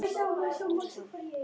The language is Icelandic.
Aftur þögn.